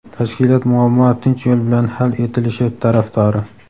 Tashkilot muammo tinch yo‘l bilan hal etilishi tarafdori.